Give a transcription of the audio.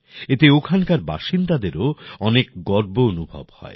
এতে ওখানের বাসিন্দাদেরও অনেক গর্ব অনুভব হয়